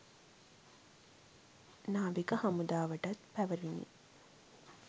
නාවික හමුදාවටත් පැවරුණි